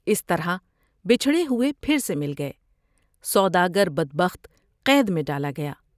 اس طرح بچھڑے ہوۓ پھر سے مل گئے ۔سوداگر بد بخت قید میں ڈالا گیا ۔